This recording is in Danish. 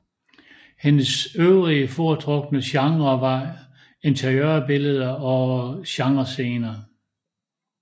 Hendes øvrige foretrukne genrer var interiørbilleder og genrescener